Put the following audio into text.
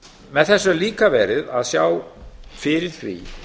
með þessu er líka verið að sjá fyrir því